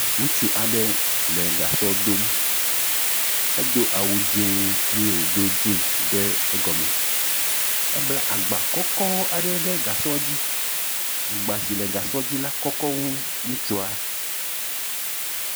Ŋutsu aɖe le gasɔ dom. Edo awu dzɛ eye wodo jeans ɖe egɔme. Ebla agba kɔkɔ aɖe ɖe gasɔ dzi. Agba si le gasɔa dzi kɔkɔ wu ŋutsua.